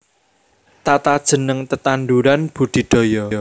Tatajeneng tetanduran budidaya